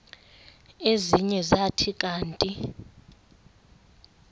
ezinye zathi kanti